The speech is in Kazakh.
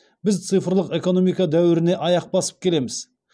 біз цифрлық экономика дәуіріне аяқ басып келеміз